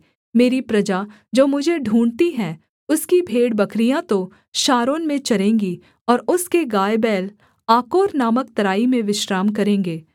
मेरी प्रजा जो मुझे ढूँढ़ती है उसकी भेड़बकरियाँ तो शारोन में चरेंगी और उसके गायबैल आकोर नामक तराई में विश्राम करेंगे